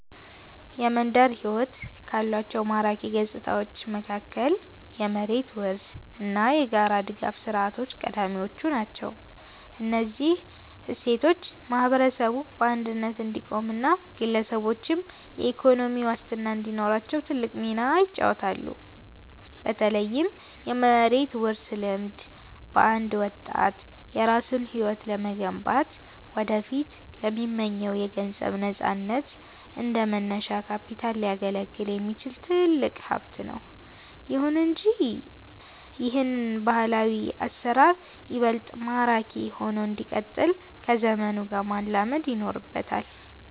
የመንደር ሕይወት ካሏቸው ማራኪ ገጽታዎች መካከል የመሬት ውርስ እና የጋራ ድጋፍ ሥርዓቶች ቀዳሚዎቹ ናቸው። እነዚህ እሴቶች ማህበረሰቡ በአንድነት እንዲቆምና ግለሰቦችም የኢኮኖሚ ዋስትና እንዲኖራቸው ትልቅ ሚና ይጫወታሉ። በተለይም የመሬት ውርስ ልምድ፣ ለአንድ ወጣት የራሱን ሕይወት ለመገንባትና ወደፊት ለሚመኘው የገንዘብ ነፃነት እንደ መነሻ ካፒታል ሊያገለግል የሚችል ትልቅ ሀብት ነው። ይሁን እንጂ ይህ ባህላዊ አሰራር ይበልጥ ማራኪ ሆኖ እንዲቀጥል ከዘመኑ ጋር መላመድ ይኖርበታል።